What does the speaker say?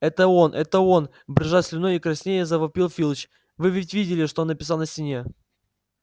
это он это он брызжа слюной и краснея завопил филч вы ведь видели что он написал на стене